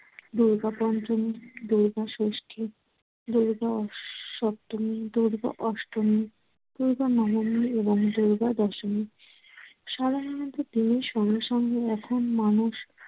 দূর্গা পঞ্চমী, দূর্গা ষষ্ঠী, দূর্গা স~ সপ্তমী, দূর্গা অষ্টমী, দূর্গা নবমী এবং দূর্গা দশমী। সাধারণত দিনের সঙ্গে সঙ্গে এখন মানুষ